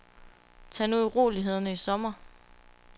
Tag nu urolighederne i sommer.